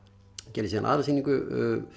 gerði síðan aðra sýningu